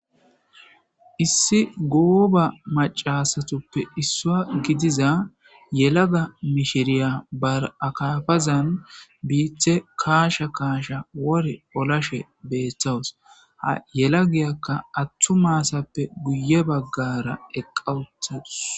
Issi goba macasutppe isuwa gidiza yelaga mishiriya ba akafazan bite kachada kasha kacha wori olashe betawus ha yelagiyaka atuma asafe guye bagara eqa utadus